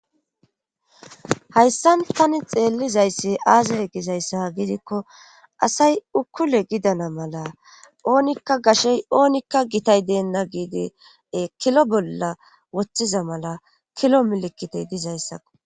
Hayssan tani xeellizayssi aazee gizayssa gidikko asay ukkule gidana mala oonikka gashey oonikka gitay deenna giidie kilo bolla woththiza mala kilo milikitey dizayssakko.